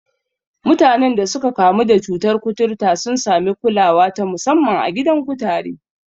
Mutanen da suka kamu da cutar kuturta sun sami kulawa ta musamman a gidan kutare.